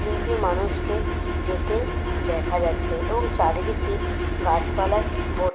তিনটি মানুষকে যেতেদেখা যাচ্ছে এবং চারিদিকতি গাছ পালায় ভর্তি।